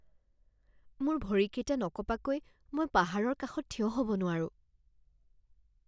মোৰ ভৰিকেইটা নকঁপাকৈ মই পাহাৰৰ কাষত থিয় হ'ব নোৱাৰোঁ